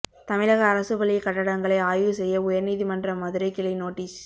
தமிழக அரசு பள்ளி கட்டடங்களை ஆய்வு செய்ய உயர்நீதிமன்ற மதுரை கிளை நோட்டீஸ்